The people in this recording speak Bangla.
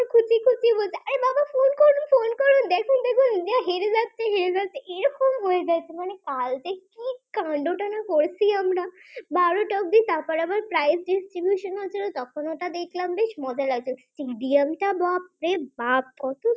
এরকম হয়ে যাচ্ছে মানে কালকে কি কান্ড টাইনা করেছি আমরা বারোটা অবধি তারপর আবার price distribution হয়েছিল। তখন ওটা দেখলাম বেশ মজা লাগলো যে আন্ত বাপরে বাপ